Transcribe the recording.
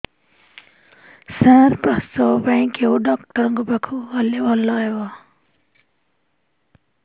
ସାର ପ୍ରସବ ପାଇଁ କେଉଁ ଡକ୍ଟର ଙ୍କ ପାଖକୁ ଗଲେ ଭଲ ହେବ